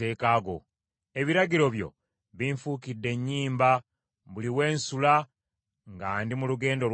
Ebiragiro byo binfuukidde ennyimba buli we nsula nga ndi mu lugendo lwange.